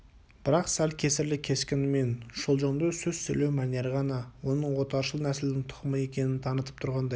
бірақ сәл кесірлі кескіні мен шолжаңдау сөз сөйлеу мәнері ғана оның отаршыл нәсілдің тұқымы екенін танытып тұрғандай